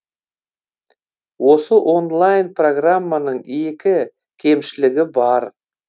осы онлайн программаның екі кемшілігі бар